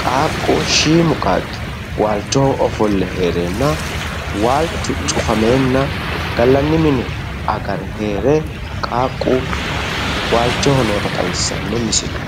qaaqu shiimu qaaqqi waalchoho ofolle hereenna waalchu cufamenna gallanni mine agare heere qaaqqu waalchoho noota xawissanno misile